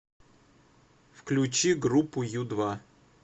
включи группу ю два